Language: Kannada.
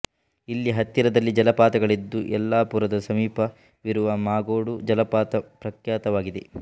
ಇಲ್ಲಿ ಹತ್ತಿರದಲ್ಲಿ ಜಲಪಾತಗಳಿದ್ದು ಯಲ್ಲಾಪುರದ ಸಮೀಪ ವಿರುವ ಮಾಗೋಡು ಜಲಪಾತ ಪ್ರಖ್ಯಾತವಾಗಿದೆ